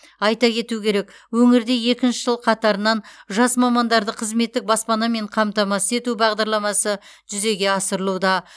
айта кету керек өңірде екінші жыл қатарынан жас мамандарды қызметтік баспанамен қамтамасыз ету бағдарламасы жүзеге асырылуда